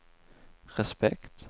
respekt